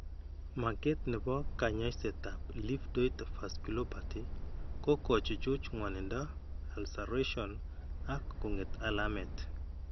Maket ne po kaany'ayseetap livedoid vasculopathy ko kochuchuch ng'wanindo, ulceration ak kong'et alamet.